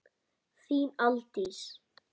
Þín, Aldís.